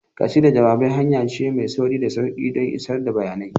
Ƙasidar jawabai hanya ce mai sauri da sauƙi don isar da bayanai.